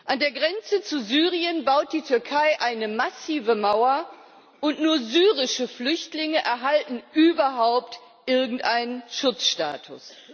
An der Grenze zu Syrien baut die Türkei eine massive Mauer, und nur syrische Flüchtlinge erhalten überhaupt irgendeinen Schutzstatus.